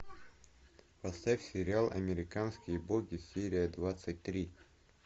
поставь сериал американские боги серия двадцать три